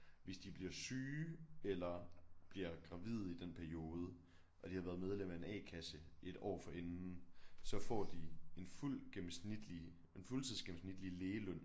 Hvis de bliver syge eller bliver gravide i den periode og de har været medlem af en a-kasse et år forinden så får de en fuld gennemsnitlig en fuldtidsgennemsnitlig lægeløn